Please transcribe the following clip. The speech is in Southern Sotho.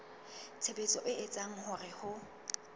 tshebetso e etsang hore ho